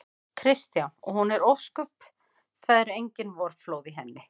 Kristján: Og hún er ósköp. það eru engin vorflóð í henni?